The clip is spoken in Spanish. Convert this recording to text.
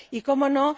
Y, ¿cómo no?,